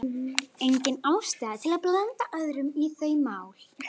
Engin ástæða til að blanda öðrum í þau mál.